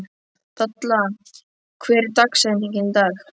Dalla, hver er dagsetningin í dag?